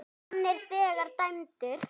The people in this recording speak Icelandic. Hann er þegar dæmdur.